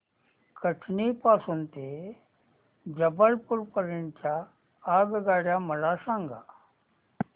कटनी पासून ते जबलपूर पर्यंत च्या आगगाड्या मला सांगा